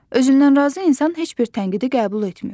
Özündən razı insan heç bir tənqidi qəbul etmir.